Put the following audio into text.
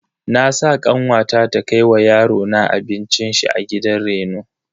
Na sa kanwata ta kai wa yarona abincin shi a gidan reno.